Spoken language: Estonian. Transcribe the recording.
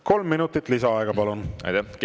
Kolm minutit lisaaega, palun!